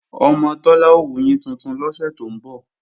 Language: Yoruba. Ọmọ Tọ́lá ó wuyín tuntun lọ́sẹ̀ tó ń bọ̀